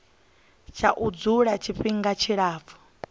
tsha u dzula tshifhinga tshilapfu